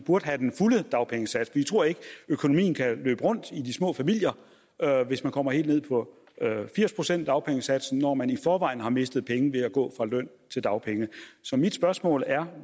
burde have den fulde dagpengesats vi tror ikke at økonomien kan løbe rundt i de små familier hvis man kommer helt ned på firs procent af dagpengesatsen når man i forvejen har mistet penge ved at gå fra løn til dagpenge mit spørgsmål er